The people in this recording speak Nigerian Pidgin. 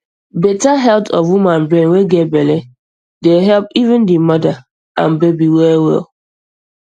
better health of woman brain wey get belle dey help even di mother and baby well well